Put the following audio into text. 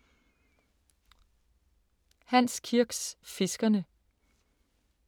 Hans Kirks Fiskerne